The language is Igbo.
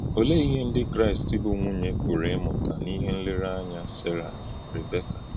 Ọ̀lee ihe Ndị Kraịst bụ́ nwùnyè pụrụ ịmụta n’íhè nlereànyà Sera na Rìbèka?